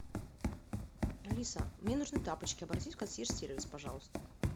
алиса мне нужны тапочки обратись в консьерж сервис пожалуйста